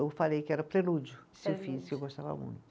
Eu falei que era o prelúdio, que eu gostava muito.